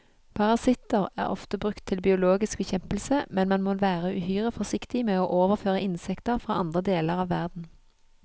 Parasitter er ofte brukt til biologisk bekjempelse, men man må være uhyre forsiktig med å overføre insekter fra andre deler av verden.